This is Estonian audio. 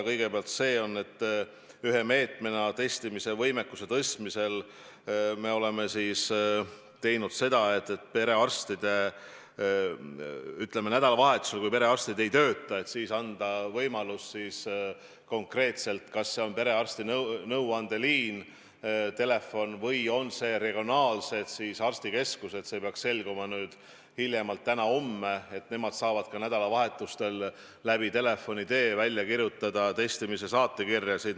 Kõigepealt see, et ühe meetmena testimise võimekuse tõstmisel me oleme teinud seda, et nädalavahetusel, kui perearstid ei tööta, anname võimaluse konkreetselt kas perearsti nõuandeliinile või regionaalsetele arstikeskustele – see peaks selguma täna või hiljemalt homme –, et nemad saavad telefonikõne vahendusel välja kirjutada testimise saatekirjasid.